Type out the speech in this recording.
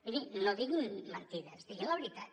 mirin no diguin mentides diguin la veritat